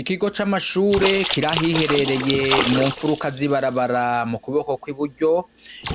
Ikigo c'amashure kirahiherereye mu mfuruka zibarabara mu kuboko kw'i buryo